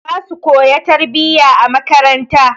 Zasu koya tarbiyya a makaranta.